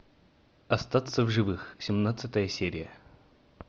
остаться в живых семнадцатая серия